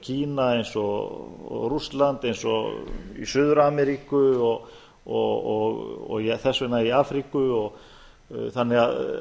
kína eins og rússland eins og í suður ameríku og þess vegna í afríku þannig að